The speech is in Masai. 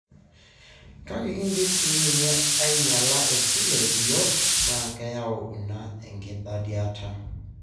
kake, kindim sininye ainyiala iseli biot, na keyau ina enkitadiata,